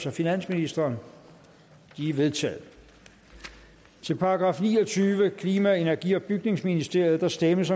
af finansministeren de er vedtaget til § niogtyvende klima energi og bygningsministeriet der stemmes